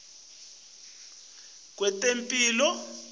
ayasisita kwetemphilo